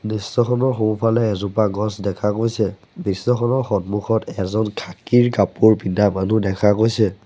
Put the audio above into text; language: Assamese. দৃশ্যখনৰ সোঁফালে এজোপা গছ দেখা গৈছে দৃশ্যখনৰ সন্মুখত এজন খাকীৰ কাপোৰ পিন্ধা মানুহ দেখা গৈছে।